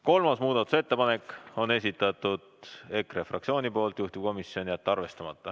Kolmanda muudatusettepaneku on esitanud EKRE fraktsioon, juhtivkomisjon on jätnud arvestamata.